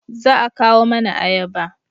Za a kawo mana ayaba